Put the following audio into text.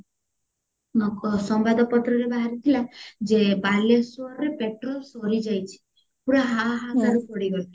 ସମ୍ବାଦ ପତ୍ରରେ ବାହାରିଥିଲା ଯେ ବାଲେଶ୍ଵରରେ petrol ସରିଯାଇଚି ପୁରା ହା ହା କାର ପଡିଗଲା